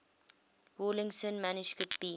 rawlinson manuscript b